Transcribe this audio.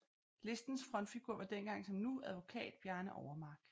Listens frontfigur var dengang som nu advokat Bjarne Overmark